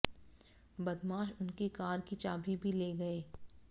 बदमाश उनकी कार की चाबी भी ले गए